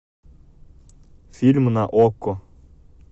фильмы на окко